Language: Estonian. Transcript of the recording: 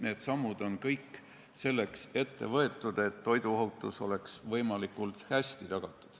Need sammud on kõik ette võetud selleks, et toiduohutus oleks võimalikult hästi tagatud.